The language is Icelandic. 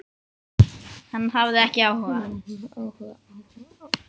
Hann hafði ekki áhuga.